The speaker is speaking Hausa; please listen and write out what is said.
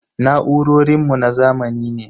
Na'urorin mu na zamani ne.